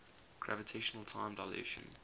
gravitational time dilation